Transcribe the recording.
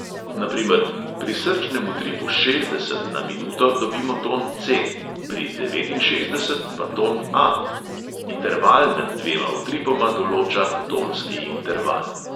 Na primer: pri srčnem utripu šestdeset na minuto dobimo ton ce|, pri devetinšestdeset pa ton a|. interval med dvema utripoma določa tonski interval.